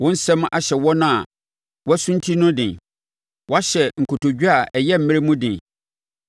Wo nsɛm ahyɛ wɔn a wɔasunti no den; woahyɛ nkotodwe a ayɛ mmerɛ mu den.